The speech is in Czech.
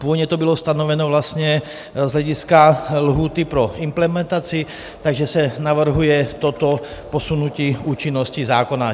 Původně to bylo stanoveno vlastně z hlediska lhůty pro implementaci, takže se navrhuje toto posunutí účinnosti zákona.